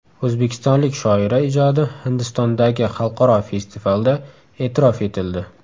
O‘zbekistonlik shoira ijodi Hindistondagi xalqaro festivalda e’tirof etildi.